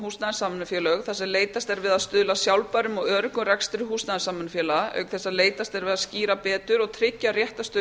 húsnæðissamvinnufélög þar sem leitast er við að stuðla að sjálfbærum og öruggum rekstri húsnæðissamvinnufélaga auk þess sem leitast er við að skýra betur og tryggja réttarstöðu